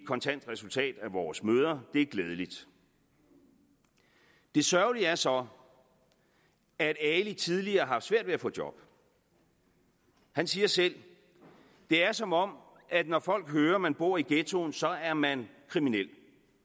kontant resultat af vores møder og det er glædeligt det sørgelige er så at ali tidligere har haft svært ved at få job han siger selv det er som om at når folk hører man bor i ghettoen så er man kriminel